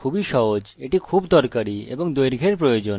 এখানে 25 অক্ষর দীর্ঘ হতে পারে